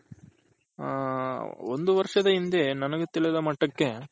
ಹ ಒಂದು ವರ್ಷದ ಹಿಂದೆ ನನಗೆ ತಿಳಿದ ಮಟ್ಟಕ್ಕೆ